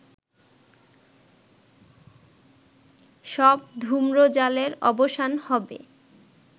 সব ধুম্রজালের অবসান হবে